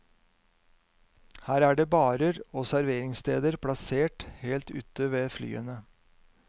Her er det barer og serveringssteder plassert helt ute ved flyene.